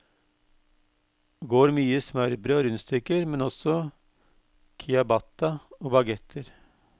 Går mye i smørbrød og rundstykker, men også ciabatta og baguetter.